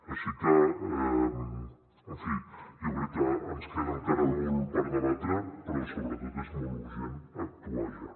així que en fi jo crec que ens queda encara molt per debatre però sobretot és molt urgent actuar ja